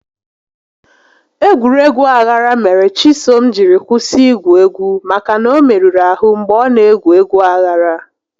Egwuregwu aghara mere Chisom jiri kwụsị igwu egwu maka na ọ merụrụ ahụ mgbe ọ na egwu egwu aghara